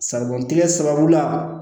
Sabantigɛ sababu la